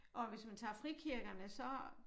Og hvis man tager frikirkerne så